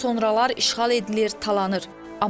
Sonralar işğal edilir, talanır.